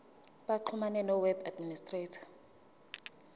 baxhumane noweb administrator